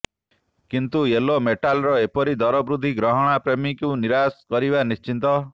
କିନ୍ତୁ ୟୋଲୋ ମେଟାଲର ଏପରି ଦର ବୃଦ୍ଧି ଗହଣାପ୍ରେମୀଙ୍କୁ ନିରାଶ କରିବା ନିଶ୍ଚିତ